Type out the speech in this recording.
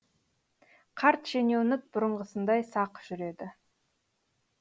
қарт шенеунік бұрынғысындай сақ жүреді